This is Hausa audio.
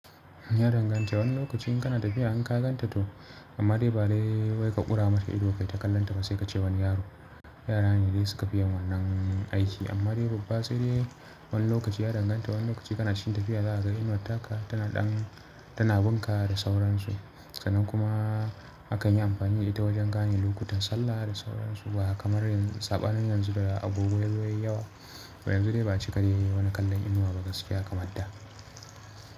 Ya danganta. Wani lokaci in kana tafiya an ka ganta to, amma dai ba dai wai ka ƙura mata ido kai ta kallonta ba sai ka ce wani yaro. Yara ne dai suka fi yin wannan aiki amma dai babba sai dai wani lokaci ya danganta. Wani lokaci kana cikin tafiya za ka ga inuwar taka tana ɗan tana binka da sauransu. Sa'nan kuma akan yi amfani da ita wajen gane lokutan sallah da sauransu ba kamar saɓanin yanzu da agogo yazo yayi yawa. To yanzu dai ba a cika dai wani kallon inuwa ba gaskiya kamar da.